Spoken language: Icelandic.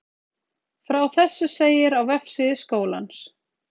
Frá þessu segir á vefsíðu skólans